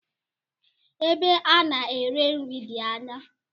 Ebe ana ere nri di ányá.